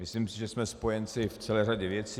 Myslím si, že jsme spojenci v celé řadě věcí.